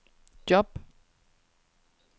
job